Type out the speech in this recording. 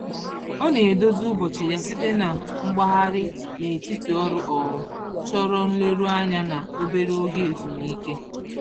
Ọ na-edozi ụbọchị ya site n'ịgbagharị n'etiti ọrụ um chọrọ nleruanya na obere oge ezumike